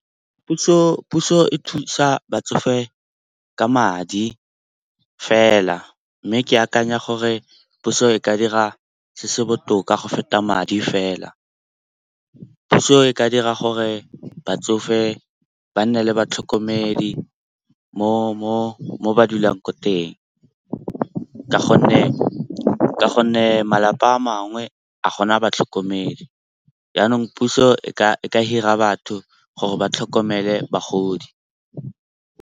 Puso e thusa batsofe ka madi fela. Mme ke akanya gore puso e ka dira se se botoka go feta madi fela. Puso e ka dira gore batsofe ba nne le batlhokomedi mo ba dulang ko teng ka gonne malapa a mangwe a gona batlhokomedi. Jaanong puso e ka hire-a batho gore ba tlhokomele bagodi.